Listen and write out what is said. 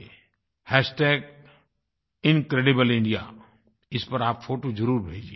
Incredible India hashtag incredible India इस पर आप फ़ोटो ज़रुर भेजिए